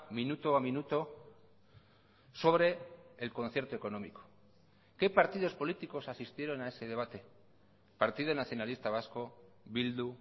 minuto a minuto sobre el concierto económico qué partidos políticos asistieron a ese debate partido nacionalista vasco bildu